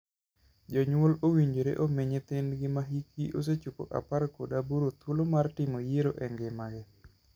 Jonyuol owinjore omii nyithindgi ma hikgi osechopo apar kod aboro thuolo mar timo yiero e ngimagi.